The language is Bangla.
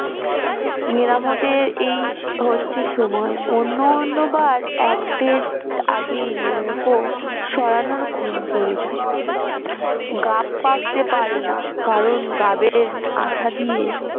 মেরামতের এই হচ্ছে সময় অন্য অন্য বার এক দিন আগেই নৌকো সরানোর ঘুম পড়ে যায় গাব তে পারে না কারণ গাবের আঠা দিয়ে